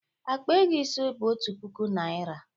Akpa ego ise bụ otu puku naịra.